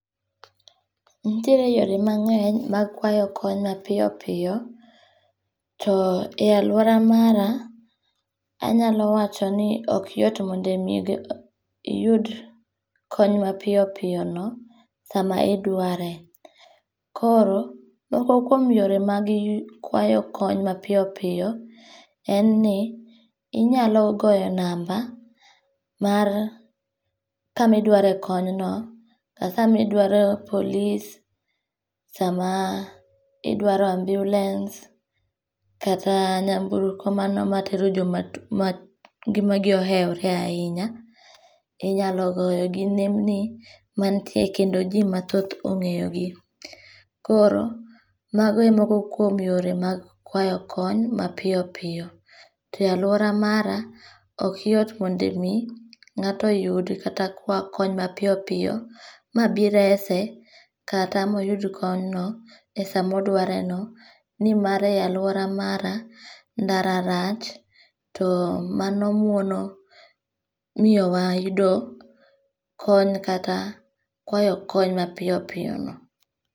Nitiere yore mange'ny mar kwayo kony mapiyo piyo, to e aluora mara anyalo wachoni ok yot mondo mi iyud konya mapiyo piyono sama idware, koro moko kuom yore ma kwayo kony ma piyo piyo, en ni inyalo goyo number mar kama idware konyno sami drwaro polis, sama idwaro ambulance kata nyamburko mano mana ma tero joma ngi''magi oewore ahinya, inyalo goyo gi nembni manitie kendo ji mathoth ongeyogi, koro magoe e moko kuom yore mag kwayo kony mapiyo piyo, e aluora mara ok yot mondo mi ngato yud kata kwa kony ma piyo piyo ma bi rese kata ma oyud konyno esama odwareno ni mare aluora mara ndara rach to mano mono miyo wa yudo kony kata kwayo kony mapiyo piyono